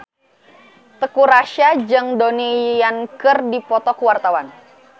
Teuku Rassya jeung Donnie Yan keur dipoto ku wartawan